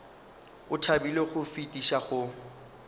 o thabile go fetiša go